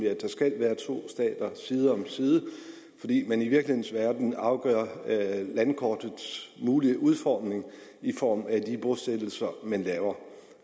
at der skal være to stater side om side fordi man i virkelighedens verden afgør landkortets mulige udformning i form af de bosættelser man laver